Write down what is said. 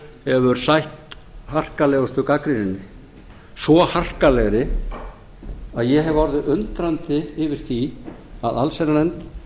hefur sætt harkalegustu gagnrýninni svo harkalegri að ég hef orðið undrandi yfir því að allsherjarnefnd